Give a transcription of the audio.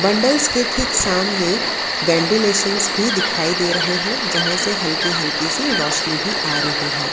Nodal की ठीक सामने वेंटीलेशंस भी दिखाई दे रहे हैं जहां से हल्की हल्की सी रोशनी भी आ रही है।